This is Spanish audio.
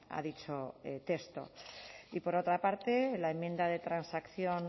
a dicho texto y por otra parte la enmienda de transacción